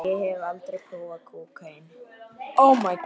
Ég hafði aldrei prófað kókaín.